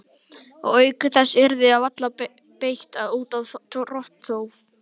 Og auk þess yrði því varla beitt út af rotþró.